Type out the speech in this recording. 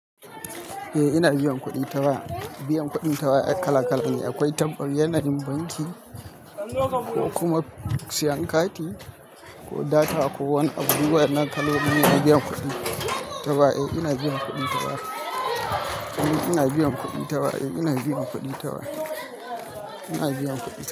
Eh ina biyan kuɗi ta waya. Biyan kuɗin ta waya ai kala kala ne. Akwai ta yanayin banki ko kuma sayan kati ko data ko wani abu duk wayannan kaloline na biyan kudi. Taba eh ina biyan kuɗi ta waya. Ina biyan kuɗi ta waya. Ina biyan kuɗi ta wa. Ina biyan kuɗi.